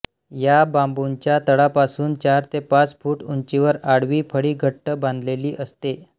या बांबूच्या तळापासून चार ते पाच फूट उंचीवर आडवी फळी घट्ट बांधलेली असते